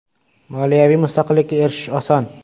Moliyaviy mustaqillikka erishish oson.